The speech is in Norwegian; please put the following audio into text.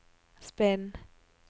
spinn